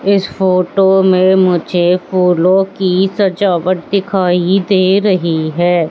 इस फोटो में मुझे फूलों की सजावट दिखाई दे रही हैं।